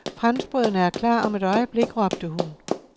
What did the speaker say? Franskbrødene er klar om et øjeblik, råbte hun.